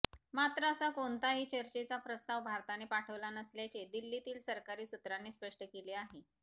मात्र असा कोणताही चर्चेचा प्रस्ताव भारताने पाठवला नसल्याचे दिल्लीतील सरकारी सूत्रांनी स्पष्ट केले आहे